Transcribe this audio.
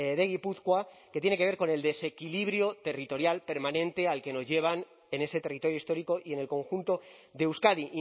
de gipuzkoa que tiene que ver con el desequilibrio territorial permanente al que nos llevan en ese territorio histórico y en el conjunto de euskadi